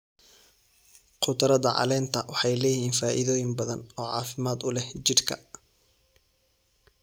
Khudradda caleenta waxay leeyihiin faa'iidooyin badan oo caafimaad u leh jidhka.